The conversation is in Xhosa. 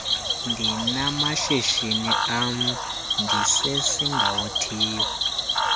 ndinamashishini am ndisesingawothiyo